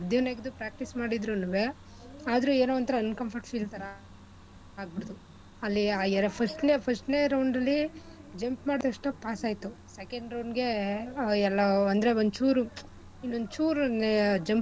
ನೆಗ್~ ನೆಗ್ದು ನೆಗ್ದು practice ಮಾಡಿದ್ರುನುವೆ ಆದ್ರೂ ಏನೋ ಒಂತರ uncomfort feel ತರ ಆಗ್ಬಿಡ್ತು ಅಲ್ಲಿ first ನೆ first ನೆ round ಅಲ್ಲಿ jump ಮಾಡಿದ್ ತಕ್ಷಣ pass ಆಯ್ತು second round ಗೆ ಎಲ್ಲೋ ಅಂದ್ರೆ ಒಂಚೂರು ಇನ್ನೊಂದ್ ಚೂರು jump